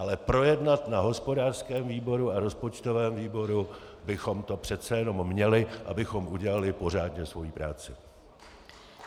Ale projednat na hospodářském výboru a rozpočtovém výboru bychom to přece jenom měli, abychom udělali pořádně svoji práci.